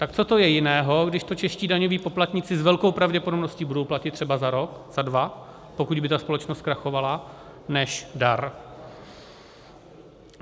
Tak co to je jiného, když to čeští daňoví poplatníci s velkou pravděpodobností budou platit třeba za rok, za dva, pokud by ta společnost zkrachovala, než dar?